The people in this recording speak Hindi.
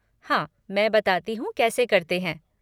हाँ ,मैं बताती हूँ कैसे करते हैं?